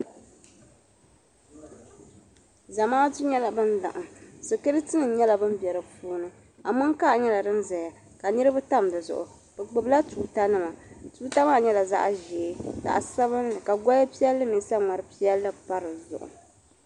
Zamaatu nyela ban laɣim sikiritinim nyela ban be bɛ puuni amonkaa nyela din zaya ka niribi tam di zuɣu bɛ gbubila tuutanima tuuta maa nyela zaɣʒee zaɣsabinli ka goli piɛlli mini saŋmari piɛlli pa di zuɣu.